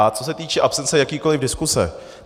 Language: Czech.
A co se týče absence jakékoliv diskuse.